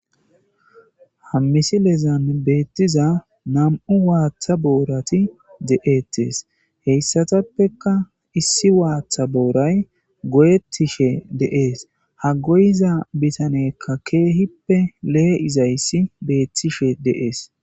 ha misilezan beettiza nam7u waaththa boorati de7eettes heyssatappeka issi waaththa booray go7ettishe de7ees ha goyiza bitaneykka keehippe lee7izayssi beettishe de7ees